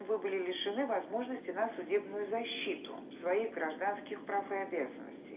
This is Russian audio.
вы были лишены возможности на судебную защиту своих гражданских прав и обязанностей